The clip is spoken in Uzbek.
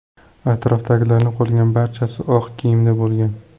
Atrofdagilarning qolgan barchasi oq kiyimda bo‘lgan.